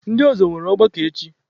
Ndị ọzọ nwere ọgbakọ echi.